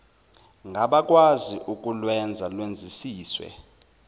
ngabakwazi ukulwenza lwenzisiswe